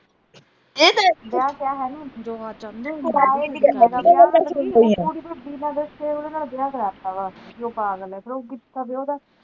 ਕੁੜੀ ਨੂੰ ਬਿਨਾਂ ਦੱਸੇ ਈ ਉਦੇ ਨਾਲ ਵਿਆਹ ਕਰਵਾਤਾ ਵਾ ਕਿ ਉਹ ਪਾਗਲ ਵਾ